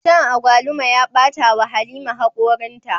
Shan agwaluma ya bata wa halima hakorinta